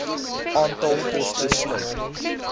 aantal poste sluit